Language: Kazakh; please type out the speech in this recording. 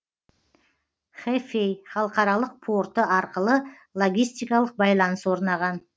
хэфэй халықаралық порты арқылы логистикалық байланыс орнаған